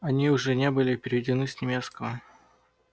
они уже не были переведены с немецкого